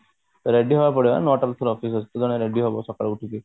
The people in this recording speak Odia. reedy ହବାକୁ ପଡିବ ନା ନଅଟା ଭିତରେ office ଅଛି ସକାଳୁ ଉଠିକି